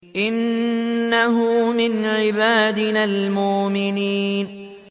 إِنَّهُ مِنْ عِبَادِنَا الْمُؤْمِنِينَ